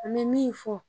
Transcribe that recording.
An bɛ min fɔ